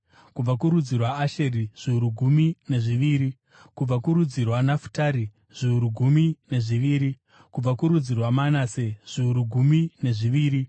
kubva kurudzi rwaAsheri, zviuru gumi nezviviri, kubva kurudzi rwaNafutari, zviuru gumi nezviviri, kubva kurudzi rwaManase, zviuru gumi nezviviri,